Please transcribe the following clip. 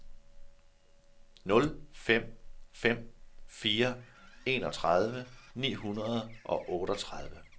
nul fem fem fire enogtredive ni hundrede og otteogtredive